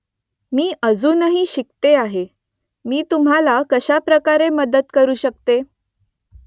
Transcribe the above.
मी अजूनही शिकते आहे . मी तुम्हाला कशाप्रकारे मदत करू शकते ?